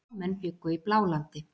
Blámenn bjuggu í Blálandi.